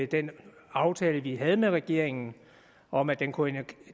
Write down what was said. den aftale vi havde med regeringen om at den kunne